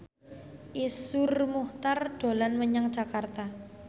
Iszur Muchtar dolan menyang Jakarta